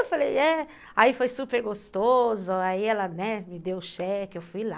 Eu falei, é. Aí foi super gostoso, aí ela me deu o cheque, eu fui lá.